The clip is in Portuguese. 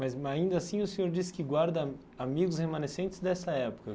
Mas ainda assim o senhor disse que guarda amigos remanescentes dessa época.